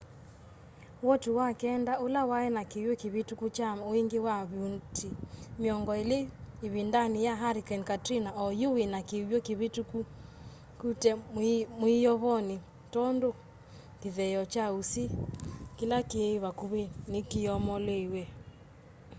woti wa kenda ũla waĩ na kĩw'ũ kĩvĩtũku kya wingĩ wa vuti mĩongo ĩlĩ ĩvindanĩ ya hurricane katrina o yu wĩna kĩw'ũ kĩvĩtũkũte mwĩyovonĩ tondũ kĩtheeo kya ũsĩ kĩla kĩ vakuvĩ nĩ kyoomoliwe